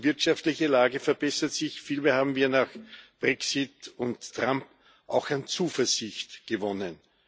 Nicht nur die wirtschaftliche Lage verbessert sich, vielmehr haben wir nach Brexit und Trump auch an Zuversicht gewonnen.